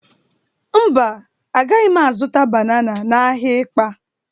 Mba, agaghị m azụta banana n'ahịa Ịkpa.